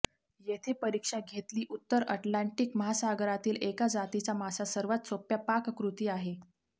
येथे परीक्षा घेतली उत्तर अटलांटिक महासागरातील एका जातीचा मासा सर्वात सोप्या पाककृती आहे